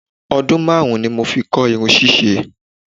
I spent 5 years learning hairstyling.